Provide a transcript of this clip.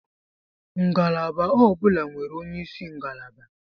Ngalaba ọ bụla nwere onyeisi ngalaba.